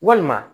Walima